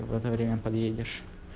в это время подъедешь